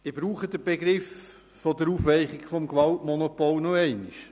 Ich brauche den Begriff «Aufweichung des Gewaltmonopols» noch einmal.